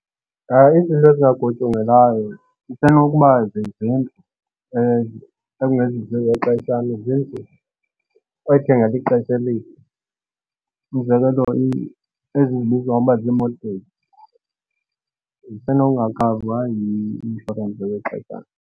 Izinto ezingagutyungelwayo isenokuba zizindlu ekungezizo ezexeshana. Izindlu oyithengela lixesha elide, umzekelo ezi ezibizwa ngokuba zii-mortgage zisenokungakhavwa yi-inshorensi yexeshana.